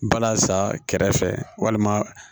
Bala sa kɛrɛfɛ walima